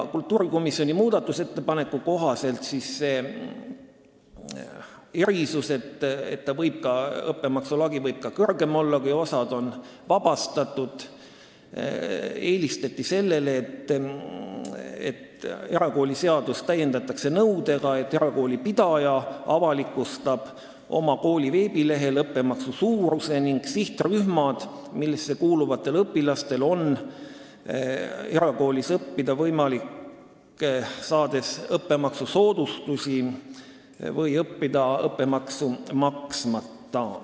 Kultuurikomisjoni muudatusettepaneku kohaselt eelistati selle erisuse asemel, et õppemaksu lagi võib kõrgem olla, juhul kui osa õpilasi on maksust vabastatud, seda, et erakooliseadust täiendatakse nõudega, et erakoolipidaja avalikustab kooli veebilehel õppemaksu suuruse ning sihtrühmad, millesse kuuluvatel õpilastel on võimalik erakoolis õppida õppemaksusoodustust saades või õppemaksu maksmata.